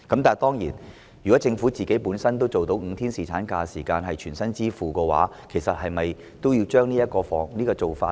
當然，如果政府能夠全薪支付5天侍產假，是否也應將此做法加入現時的修正案內呢？